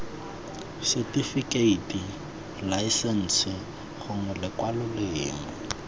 setifikeiti laesense gongwe lekwalo lengwe